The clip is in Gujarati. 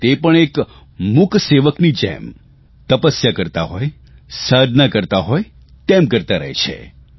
અને તે પણ એક મૂકસેવકની જેમ તપસ્યા કરતા હોય સાધના કરતા હોય તેમ કરતા રહે છે